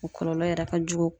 O kɔlɔlɔ yɛrɛ ka jugu.